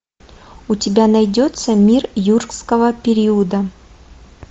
у тебя найдется мир юрского периода